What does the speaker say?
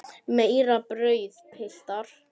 Meira brauð, piltar?